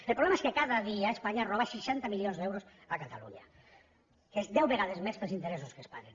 el problema és que cada dia espanya roba seixanta milions d’euros a catalunya que és deu vegades més que els interessos que es paguen